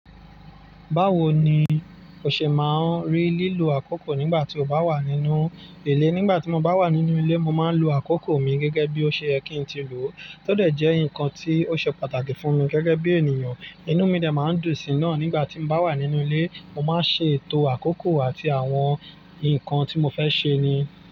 Báwo ni o ṣe máa rí lílo àkókò nígbà tí o bá wà nínú ilé? Nígbà tí mo bá wà nínú ilé, mo máa ń lo àkókò mi gẹ́gẹ́ bí ó ṣe yẹ kí n ti lò. Tó dẹ̀ jẹ́ ǹkan tí ó ṣe pàtàkì fún mi gẹ́gẹ́ bí ènìyàn. Inú mi dẹ̀ máa ń dùn sí náà nígbà tí mo bá wà nínú ilé. Mo máa ń ṣe ètò àkókò àti àwọn ǹkan tí mo fẹ́ ṣe ni.